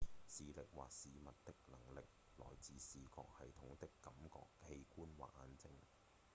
視力或視物的能力來自視覺系統的感覺器官或眼睛